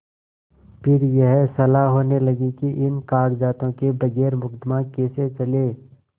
फिर यह सलाह होने लगी कि इन कागजातों के बगैर मुकदमा कैसे चले